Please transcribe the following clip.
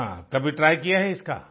हाँ कभी ट्राय किया है इसका